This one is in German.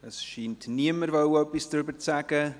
Es scheint niemand etwas sagen zu wollen.